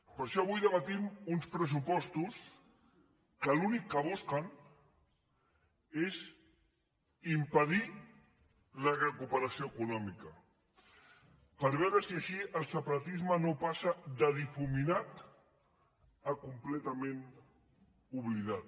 per això avui debatem uns pressupostos que l’únic que busquen és impedir la recuperació econòmica per veure si així el separatisme no passa de difuminat a completament oblidat